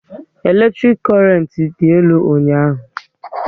Eletrik korent dị elu ụnyaahụ